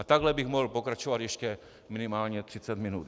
A takhle bych mohl pokračovat ještě minimálně 30 minut.